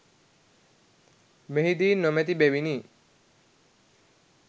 මෙහිදී නොමැති බැවිනි.